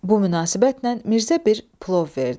Bu münasibətlə Mirzə bir plov verdi.